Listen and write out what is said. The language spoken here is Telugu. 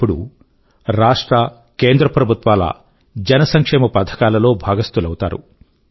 వారు ఇప్పుడు రాష్ట్ర కేంద్ర ప్రభుత్వాల జన సంక్షేమ పథకాల లో భాగస్థులవుతారు